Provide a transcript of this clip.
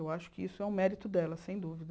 Eu acho que isso é um mérito dela, sem dúvida.